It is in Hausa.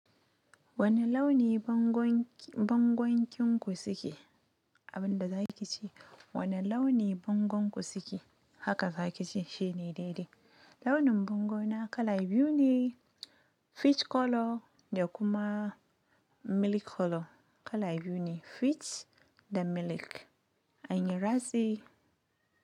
Wani launi bongonki- bongonkin ku suke? Abin da za ki ce, wane launi bongon ku suke? Haka daki ce shine dai-dai, launin bango na kala biyu ne peach color da kuma milk color. Kala biyu ne peach da kuma milk anyi ratsi.